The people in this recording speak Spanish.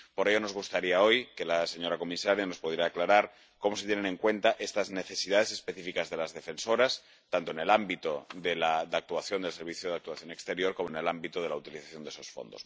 Por ello, nos gustaría hoy que la señora comisaria nos pudiera aclarar cómo se tienen en cuenta estas necesidades específicas de las defensoras, tanto en el ámbito de la actuación del Servicio Europeo de Acción Exterior como en el ámbito de la utilización de esos fondos.